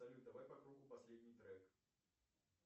салют давай по кругу последний трек